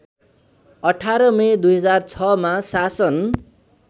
१८ May २००६ मा शासन